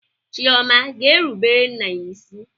Chioma ga-erubere nna ya isi?